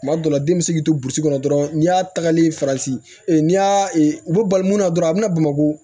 Tuma dɔw la den bɛ se k'i to burusi kɔnɔ dɔrɔn n'i y'a tagali farati n'i y'a u bɛ bali mun na dɔrɔn a bɛna bamakɔ